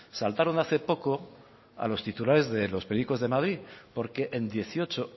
saltaron hace poco a los titulares de los periódicos de madrid porque en dieciocho